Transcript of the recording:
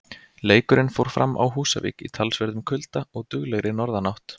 Leikurinn fór fram á Húsavík í talsverðum kulda og duglegri norðanátt.